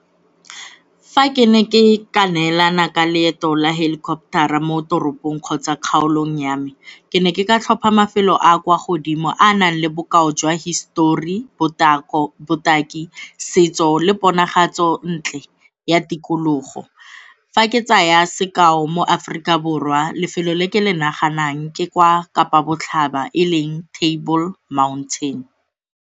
Fa ke ne ke ka neelana ka leeto la helicopter-ra mo toropong kgotsa kgaolong ya me, ke ne ke ka tlhopha mafelo a a kwa godimo a nang le bokao jwa histori, botaki, setso le ponagalo ntle ya tikologo. Fa ke tsaya sekao, mo Aforika Borwa lefelo le ke le naganang ke kwa Kapa Botlhaba e leng Table Mountain.